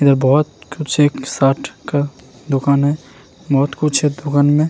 इधर बहुत दुकान है बहुत कुछ है इस दुकान में।